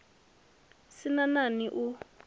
sin a nani a u